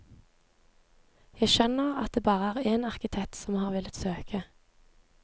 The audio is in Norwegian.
Jeg skjønner at det bare er én arkitekt som har villet søke.